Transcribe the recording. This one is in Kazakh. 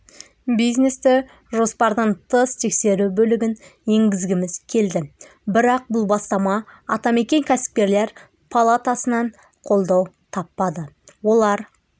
бизнесті жоспардан тыс тексеру бөлігін енгізгіміз келді бірақ бұл бастама атамекен кәсіпкерлер палатасынан қолдау таппады олар